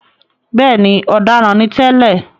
Bẹ́ẹ̀ni,“ọ̀daràn” ni tẹ́lẹ̀.